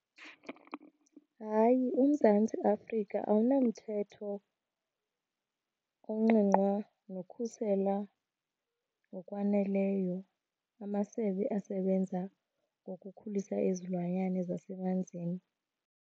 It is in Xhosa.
Hayi, uMzantsi Afrika awunamthetho ongqingqwa nokhusela ngokwaneleyo amasebe asebenza ngokukhulisa izilwanyane zasemanzini.